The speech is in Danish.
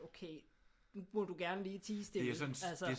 Okay nu må du gerne lige tie stille altså